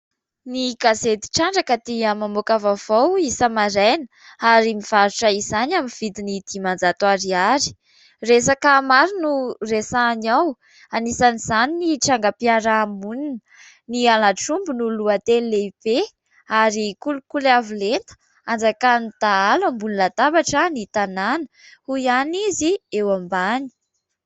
Ny gazedy trandraka dia mamoaka vaovao isa- maraina ary mivarotra izany amin'ny vidiny dimanjato ariary. Resaka maro no resahany ao : anisan'izany ny trangam- piarahamonina, ny halatr' omby no lohateny lehibe ; ary kolokoly avo lenta, anjakan' ny dahalo ambony latabatra ny tanàna, hoy ihany izy eo ambany.